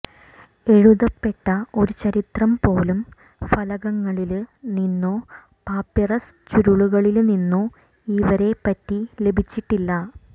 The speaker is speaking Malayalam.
എഴുതപ്പെട്ട ഒരു ചരിത്രം പോലും ഫലകങ്ങളില് നിന്നോ പാപ്പിറസ് ചുരുളുകളില് നിന്നോ ഇവരെപ്പറ്റി ലഭിച്ചിട്ടില്ല